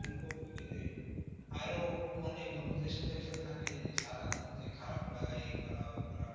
এই আরও মানে বন্ধুদের সাথে থাকলে এই যে সারাদিন খারাপ লাগা এই করা ওই করা এ